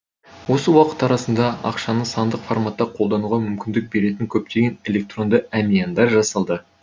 осы уақыт арасында ақшаны сандық форматта қолдануға мүмкіндік беретін көптеген электронды әмияндар жасалды